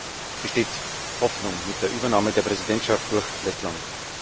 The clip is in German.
Deswegen besteht Hoffnung mit der Übernahme der Präsidentschaft durch Lettland.